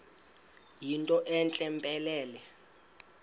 yinto entle mpelele